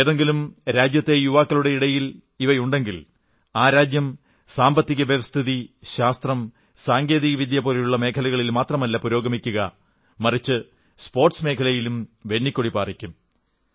ഏതെങ്കിലും രാജ്യത്തെ യുവാക്കളുടെയുള്ളിൽ ഇവയുണ്ടെങ്കിൽ ആ രാജ്യം സാമ്പത്തികം ശാസ്ത്രം സാങ്കേതികവിദ്യ പോലുള്ള മേഖലകളിൽ മാത്രമല്ല പുരോഗമിക്കുക മറിച്ച് സ്പോർട്സ് മേഖലയിലും വെന്നിക്കൊടി പാറിക്കും